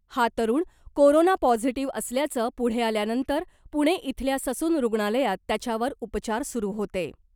हा तरुण corona positive असल्याचं पुढे आल्यानंतर पुणे इथल्या ससून रूग्णालयात त्याच्यावर उपचार सुरू होते .